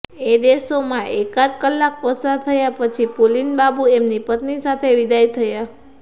એ દશામાં એકાદ કલાક પસાર થયા પછી પુલિનબાબુ એમની પત્ની સાથે વિદાય થયા